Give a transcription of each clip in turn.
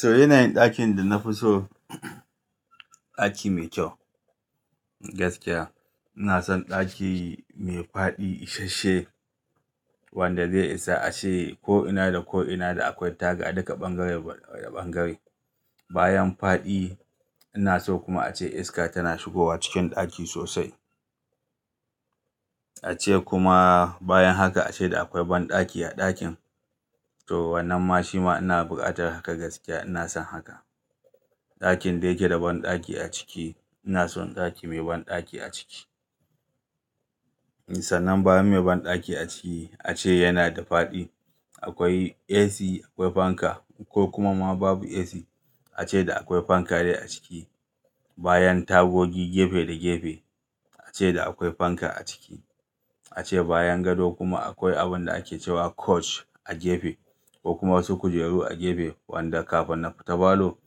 So yanayin ɗakin da na fi so, ɗaki mai kyau gaskiya. Ina son ɗaki mai faɗi isashe wanda zai isa ashe ko ina da ko ina da akwai taga duka bangare da bangare. Bayan faɗi ina so kuma ace iska tana shigowa cikin ɗaki sosai. Ace kuma bayan haka ace da akwai banɗaki a ɗakin. So wannan ma shima ina buƙatar haka gaskiya ina son haka. Ɗakin da yake da banɗaki a ciki ina son ɗaki mai banɗaki a ciki. Sanan bayan mai banɗaki a ciki ace yana da faɗi. Akwai AC, akwai fanka ko kuma ma babu AC ace da akwai fanka dai a ciki. Bayan tagogi gefe da gefe ace da akwai fanka a ciki. Ace bayan gado kuma akwai abun da ake cewa coach a gefe ko kuma wasu kujeru a gefe wanda kafin na fita falo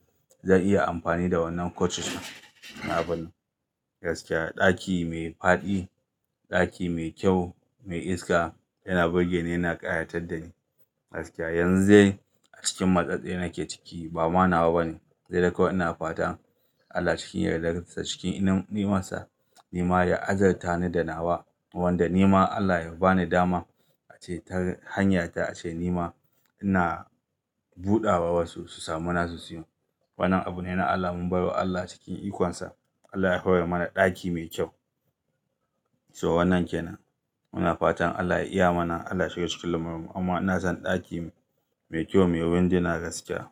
zan iya amfani da wannan coaches na abun. Gaskiya ɗaki mai faɗi, ɗaki mai kyau, mai iska yana burge ni yana ƙayatar da ni gaskiya. Yanzu dai a cikin matsatsin yake ciki ba ma nawa bane. Sai dai kawai ina fatan Allah cikin yardarsa cikin inunsa nima ya azarta ni da nawa wanda nima Allah ya bani dama ace tar hanyarta ace nima ina buɗawa wasu su samu nasu siyan. Wannan abune na Allah mun bai wa Allah cikin ikonsa Allah ya hauwa mana ɗaki mai kyau. So wannan kenan. Muna fatan Allah ya iya mana Allah shiga cikin lamarmu amma ina son ɗaki mai kyau mai wuri da yana gaskiya.